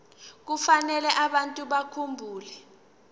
kufanele abantu bakhumbule